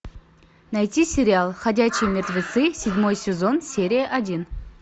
найти сериал ходячие мертвецы седьмой сезон серия один